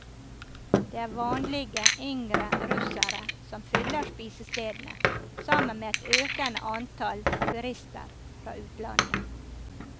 Det er vanlige, yngre russere som fyller spisestedene, sammen med et økende antall turister fra utlandet.